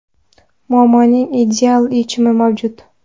Muammoning ideal yechimi mavjud.